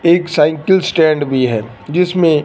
एक cycle stand भी है जिसमें--